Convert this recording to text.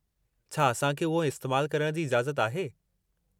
छा असां खे उहो इस्तेमालु करण जी इजाज़त आहे?